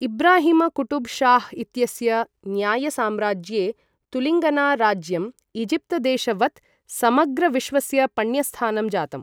इब्राहिमकूटबशाह इत्यस्य न्याय्यसाम्राज्ये तुलिंगना राज्यं ईजिप्तदेशवत् समग्रविश्वस्य पण्यस्थानं जातम्।